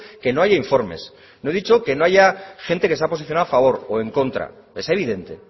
que no haya informes no he dicho que no haya gente que se ha posicionado a favor o en contra es evidente